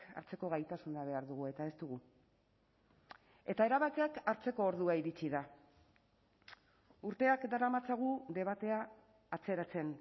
hartzeko gaitasuna behar dugu eta ez dugu eta erabakiak hartzeko ordua iritsi da urteak daramatzagu debatea atzeratzen